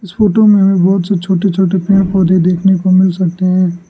इस फोटो में बहोत से छोटे छोटे पेड़ पौधे देखने को मिल सकते हैं।